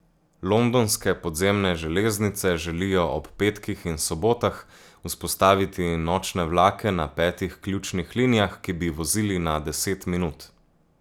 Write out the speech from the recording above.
Londonske podzemne železnice želijo ob petkih in sobotah vzpostaviti nočne vlake na petih ključnih linijah, ki bi vozili na deset minut.